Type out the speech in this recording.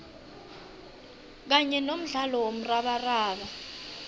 kanye nomdlalo womrabaraba